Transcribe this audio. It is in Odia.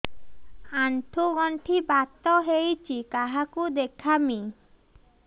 ଆଣ୍ଠୁ ଗଣ୍ଠି ବାତ ହେଇଚି କାହାକୁ ଦେଖାମି